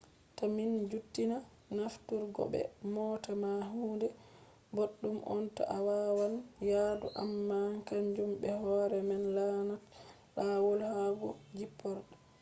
ta mi juttina nafturgo be moota ma huunde boɗɗum on to a waaɗan yaadu amma kanjum be hoore man laatan laawol yahugo jipporde